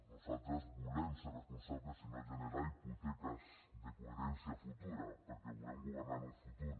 nosaltres volem ser responsables i no generar hipoteques de coherència futura perquè volem governar en un futur